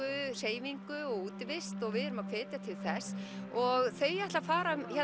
hreyfingu og útivist og við erum að hvetja til þess og þau ætla að fara